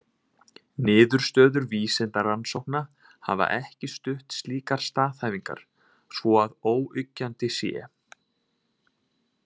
Niðurstöður vísindarannsókna hafa ekki stutt slíkar staðhæfingar svo að óyggjandi sé.